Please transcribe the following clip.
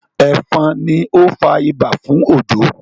efon ní o fà ibà fún Ojo